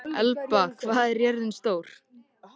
Elba, hvað er jörðin stór?